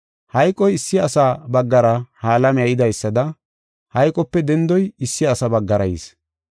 Hayqoy issi asa baggara ha alamiya yidaysada hayqope dendoy issi asa baggara yis.